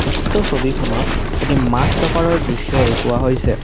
উক্ত ছবিখনত এটি মাছ বেপাৰৰ দৃশ্য দেখুওৱা হৈছে।